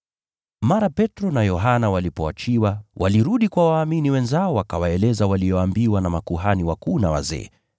Punde Petro na Yohana walipoachiliwa, walirudi kwa waumini wenzao wakawaeleza waliyoambiwa na viongozi wa makuhani na wazee.